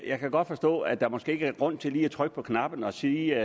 jeg kan godt forstå at der måske ikke er grund til lige at trykke på knappen og sige